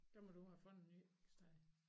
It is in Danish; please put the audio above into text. Der må du have fundet et nyt sted